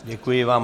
Děkuji vám.